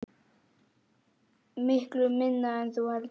Miklu minna en þú heldur.